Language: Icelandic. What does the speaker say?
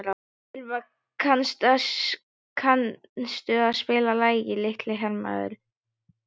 Örvar, kanntu að spila lagið „Litli hermaðurinn“?